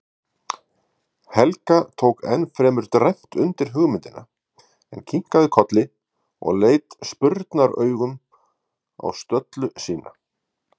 Helga tók fremur dræmt undir hugmyndina, en kinkaði kolli og leit spurnaraugum á stöllu sína.